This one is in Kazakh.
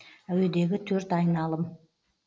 әуедегі төрт айналым